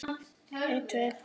Sláðu henni ekki á frest.